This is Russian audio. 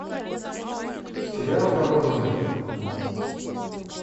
сериал воронины